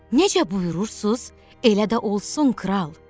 Necə buyurursunuz, elə də olsun, kral.